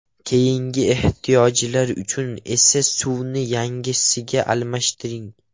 Keyingi ehtiyojlar uchun esa suvni yangisiga almashtiring.